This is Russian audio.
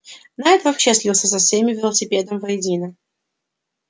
найд вообще слился со всеми велосипедом воедино